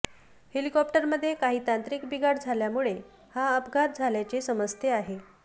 हॅलिकॉप्टरमध्ये काही तांत्रिक बिघाड झाल्यामुळे हा अपघात झाल्याचे समजते आहे